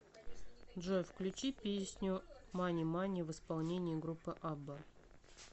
джой включи песню мани мани в исполнении группы абба